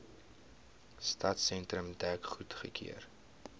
stadsentrum dek goedgekeur